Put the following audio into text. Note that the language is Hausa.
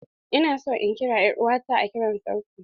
Ina son in kira er'uwa ta a kiran sauti.